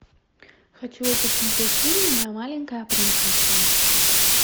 хочу я посмотреть фильм моя маленькая принцесса